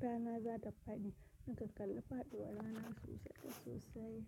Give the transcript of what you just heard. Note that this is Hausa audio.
rana za ta faɗi. Nakan kalla fadi warana sosai sosai.